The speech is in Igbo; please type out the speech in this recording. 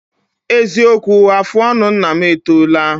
Eziokwu, afụ ọnụ nna m etoola